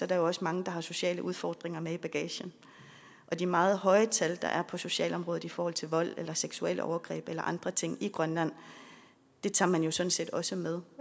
der jo også mange der har sociale udfordringer med i bagagen og de meget høje tal der er på socialområdet i forhold til vold eller seksuelle overgreb eller andre ting i grønland tager man jo sådan set også med